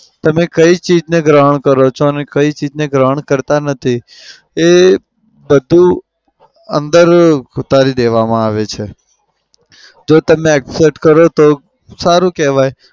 તમે કઈ ચીજને ગ્રહણ કરો છો અને કઈ ચીજને ગ્રહણ કરતા નથી એ બધું અંદર ઉતારી દેવામાં આવે છે. જો તમે accept કરો તો સારું કેવાય.